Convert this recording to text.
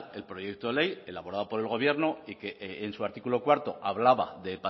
el proyecto ley elaborado por el gobierno que en su artículo cuarto hablaba de